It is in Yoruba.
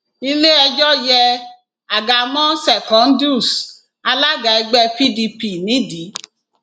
iléẹjọ yé àga mọ secondus alága ẹgbẹ pdp nídìí